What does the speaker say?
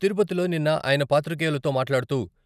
తిరుపతిలో నిన్న ఆయన పాత్రికేయులతో మాట్లాడుతూ...